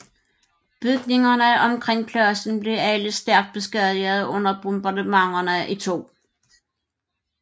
Bygningerne omkring pladsen blev alle stærkt beskadigede under bombardementerne i 2